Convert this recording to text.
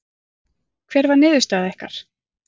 Hver var niðurstaða ykkar?